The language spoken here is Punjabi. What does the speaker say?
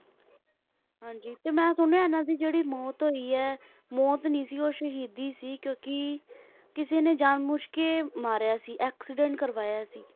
ਹਾਂਜੀ ਤੇ ਮੈਂ ਸੁਣਿਆ ਇਹਨਾਂ ਦੀ ਜਿਹੜੀ ਮੌਤ ਹੋਈ ਹੈ ਮੌਤ ਨੀ ਸੀ ਉਹ ਸ਼ਹੀਦੀ ਸੀ ਕਿਉਂਕਿ ਕਿਸੇ ਨੇ ਜਾਣਬੁੱਝ ਕੇ ਮਾਰਿਆ ਸੀ accident ਕਰਵਾਇਆ ਸੀ